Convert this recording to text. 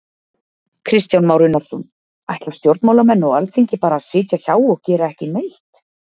Kristján Már Unnarsson: Ætla stjórnmálamenn og Alþingi bara að sitja hjá og gera ekki neitt?